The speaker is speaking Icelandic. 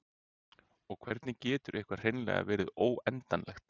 og hvernig getur eitthvað hreinlega verið óendanlegt